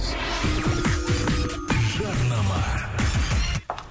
жарнама